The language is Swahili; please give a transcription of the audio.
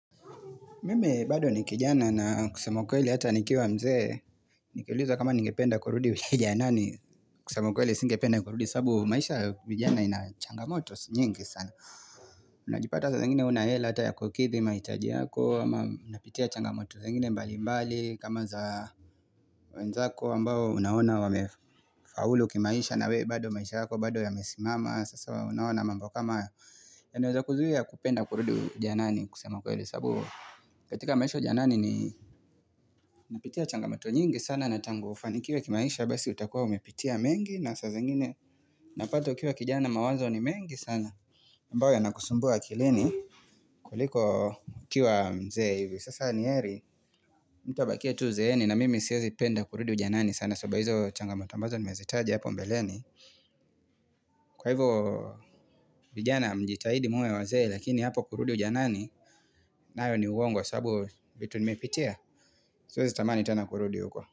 Mimi bado ni kijana na kusema ukweli hata nikiwa mzee, nikiulizwa kama ningependa kurudi ujanani kusema ukweli singependa kurudi sababu maisha vijana ina changamoto nyingi sana. Unajipata saa zingine huna hela hata ya kukidhi mahitaji yako ama unapitia changamoto zingine mbali mbali kama za wenzako ambao unaona wamefaulu kimaisha na wewe bado maisha yako bado yamesimama sasa unaona mambo kama hayo yanaweza kuzuia kupenda kurudi ujanani kusema kweli. Sababu katika maisha ujanani ni napitia changamato nyingi sana na tangu ufanikiwe kimaisha Basi utakuwa umepitia mengi na sasa zingine Unapata ukiwa kijana mawazo ni mengi sana ambayo yanakusumbua akilini kuliko ukiwa mzee Sasa ni heri mtu abakie tu uzeeni na mimi siwezi penda kurudi ujanani sana sababu ya hizo changamato ambazo nimezitaja hapo mbeleni Kwa hivyo vijana mjitahidi muwe wazee lakini hapo kurudi ujanani nayo ni uongo sababu vitu nimepitia Siwezi tamani tena kurudi huko.